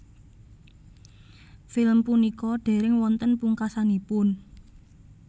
Film punika dereng wonten pungkasanipun